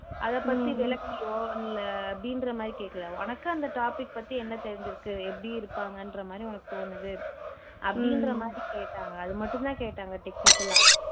அதை பத்தி விளக்கியோ இல்ல அப்படின்ற மாதிரி கேக்கல உனக்கு அந்த topic பத்தி என்ன தெரிஞ்சுருக்கு எப்படி இருப்பாங்கன்ற மாதிரி உனக்கு தோனுது அப்படின்ற மாதிரி கேட்டாங்க அது மட்டும் தான் கேட்டாங்க technical ஆ